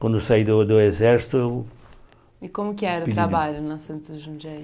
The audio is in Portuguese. Quando saí do do exército eu... E como que era o trabalho na Santos Jundiaí?